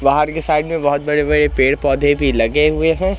बाहर के साइड में बहोत बड़े-बड़े पेड़-पौधे भी लगे हुए हैं।